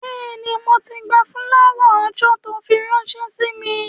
Bẹ́ẹ̀ni, mo ti gba fúláwà-oòjọ́ tó fi ránṣẹ́ sí mi